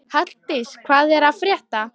Halldís, hvað er að frétta?